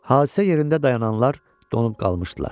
Hadisə yerində dayananlar donub qalmışdılar.